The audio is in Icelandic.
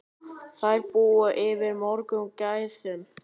Þær búa yfir mörgum gæðum.